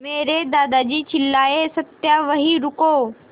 मेरे दादाजी चिल्लाए सत्या वहीं रुको